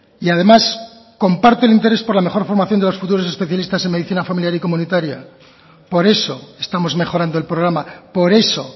y además comparto el interés por la mejor formación de los futuros especialistas en medicina familiar y comunitaria por eso estamos mejorando el programa por eso